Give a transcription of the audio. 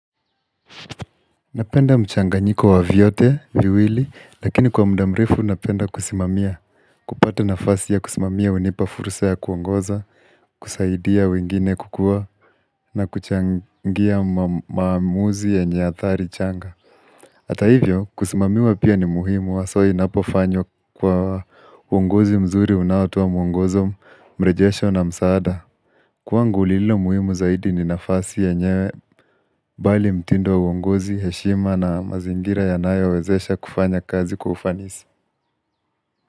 Napenda mchanganyiko wa vyote, viwili, lakini kwa mda mrefu napenda kusimamia, kupata nafasi ya kusimamia hunipa fursa ya kuongoza, kusaidia wengine kukua, na kuchangia maamuzi yenye athari changa. Hata hivyo kusimamiwa pia ni muhimu haswa inapofanywa kwa uongozi mzuri unaotoa mwongozo mrejesho na msaada Kwangu lililo muhimu zaidi ni nafasi yenyewe Bali mtindo wa uongozi, heshima na mazingira yanayowezesha kufanya kazi kwa ufanisi.